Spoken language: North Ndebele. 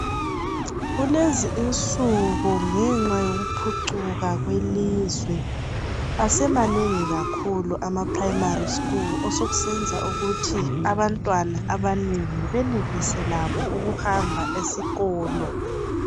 kulezi insuku ngenxa yokuphucuka kwelizwe asemanengi kakhulu ama primary school osokusenza ukuthi abantwana abanengi benelise labo ukuhamba esikolo